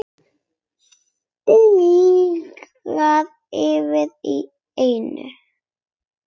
Stingir fram í ennið.